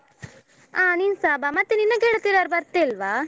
ಅ ನಿನ್ಸ ಬಾ ಮತ್ತೆ ನಿನ್ನ ಗೆಳತಿಯರು ಯಾರು ಬರ್ತಿಲ್ವಾ?